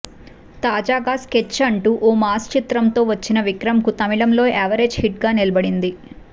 తాజాగా స్కెచ్ అంటూ ఓ మాస్ చిత్రంతో వచ్చిన విక్రమ్ కు తమిళంలో యావరేజ్ హిట్ గా నిలబడింది